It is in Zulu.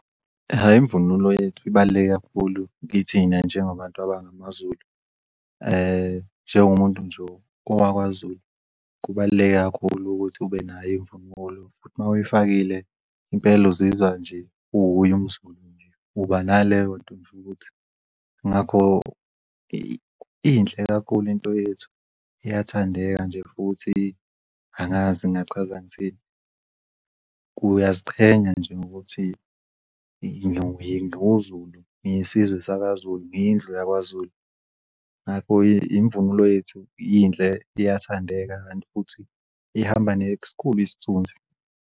Hhayi imvunulo yethu ibaluleke kakhulu kithina njengabantu abangamaZulu. Njengomuntu nje owakwaZulu kubaluleke kakhulu ukuthi ube nayo imvunulo futhi mawuyifakile impela uzizwa nje uwuye umZulu nje uba naleyonto nje ukuthi ngakho inhle kakhulu into yethu iyathandeka nje futhi angazi ngingachaza ngithini uyaziqhenya nje ngokuthi ngumZulu, ngisizwe sakwaZulu, ngiyindlu yakwaZulu. Ngakho imvunulo yethu inhle iyathandeka kanti futhi ihamba neskhulu isithunzi.